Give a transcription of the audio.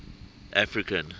african